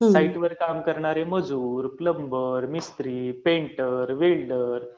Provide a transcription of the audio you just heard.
साईटवर काम करणारे मजूर, मिस्त्री, प्लम्बर, वेल्डर